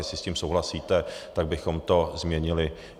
Jestli s tím souhlasíte, tak bychom to změnili.